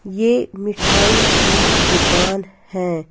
ये मिठाई की दुकान है।